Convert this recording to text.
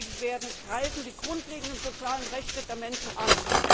verabschiedet werden, greifen die grundlegenden sozialen Rechte der Menschen an.